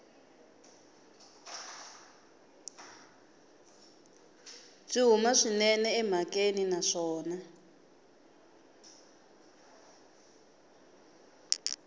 byi huma swinene emhakeni naswona